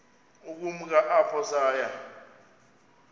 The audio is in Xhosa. ukumka apho saya